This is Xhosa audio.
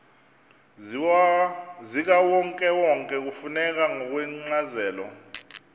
zikawonkewonke kufuneka ngokwencazelo